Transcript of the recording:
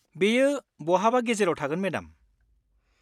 बेयो बहाबा गेजेराव थागोन मेडाम।